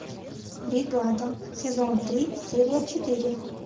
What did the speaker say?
бригада сезон три серия четыре